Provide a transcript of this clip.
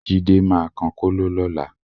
Jídé máa kan kóló lọ́la